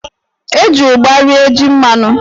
E ji ụgba rie jí mmanụ.